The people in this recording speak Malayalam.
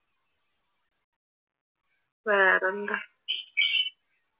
വേറെന്താ?